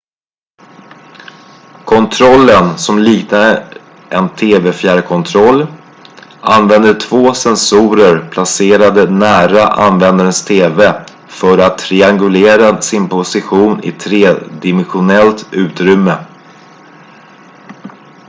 kontrollen som liknar en tv-fjärrkontroll använder två sensorer placerade nära användarens tv för att triangulera sin position i tredimensionellt utrymme